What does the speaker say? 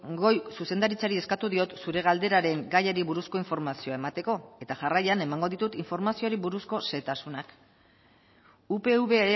goi zuzendaritzari eskatu diot zure galderaren gaiari buruzko informazioa emateko eta jarraian emango ditut informazioari buruzko xehetasunak upv